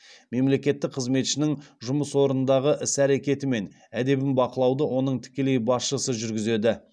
мемлекеттік қызметшінің жұмыс орындағы іс әрекеті мен әдебіне бақылауды оның тікелей басшысы жүргізеді